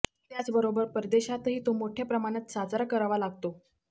त्याचबरोबर परदेशातही तो मोठ्या प्रमाणात साजरा करावा लागतो